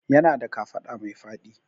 Yana da kafaɗa mai faɗi